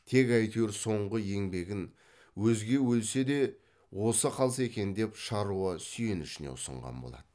тек әйтеуір соңғы еңбегін өзге өлсе де осы қалса екен деген шаруа сүйенішіне ұсынған болады